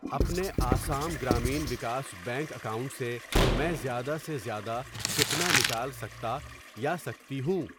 اپنے Assam Gramin Vikas bank account سے میں زیادہ سے زیادہ کتنا نکال سکتا یا سکتی ہوں؟